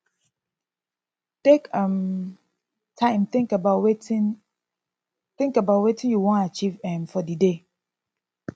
take um time think about wetin think about wetin you wan achieve um for di day